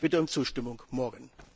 Ich bitte um Zustimmung morgen.